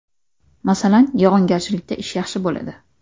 Masalan, yog‘ingarchilikda ish yaxshi bo‘ladi.